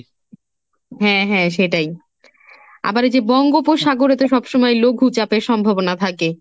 হ্যাঁ হ্যাঁ সেটাই, আবার এই যে বঙ্গোপসাগরে তো সবসময় লঘু চাপের সম্ভাবনা থাকে।